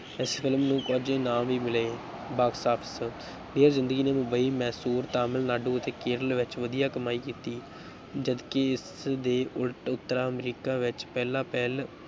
ਇਸ film ਨੂੰ ਕੁਝ ਇਨਾਮ ਵੀ ਮਿਲੇ box office ਡੀਅਰ ਜ਼ਿੰਦਗੀ ਨੇ ਮੁੰਬਈ, ਮੈਸੂਰ, ਤਮਿਲ ਨਾਡੂ ਅਤੇ ਕੇਰਲ ਵਿੱਚ ਵਧੀਆ ਕਮਾਈ ਕੀਤੀ, ਜਦਕਿ ਇਸਦੇ ਉਲਟ ਉੱਤਰ ਅਮਰੀਕਾ ਵਿੱਚ ਪਹਿਲਾਂ-ਪਹਿਲ